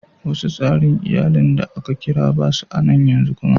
Wasu tsarin iyallin da aka kira ba su a'nan yanzu kuma.